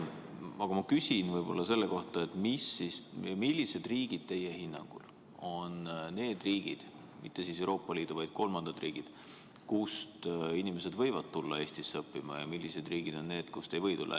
Aga ma küsin selle kohta, millised riigid teie hinnangul on need – mitte Euroopa Liidu, vaid kolmandad riigid –, kust inimesed võivad tulla Eestisse õppima, ja millised riigid on need, kust ei või tulla.